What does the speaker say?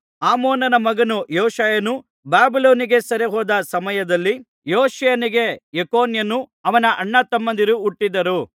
ಆಮೋನ ಮಗನು ಯೋಷೀಯನು ಬಾಬಿಲೋನಿಗೆ ಸೆರೆಹೋದ ಸಮಯದಲ್ಲಿ ಯೋಷೀಯನಿಗೆ ಯೆಕೊನ್ಯನು ಅವನ ಅಣ್ಣತಮ್ಮಂದಿರು ಹುಟ್ಟಿದರು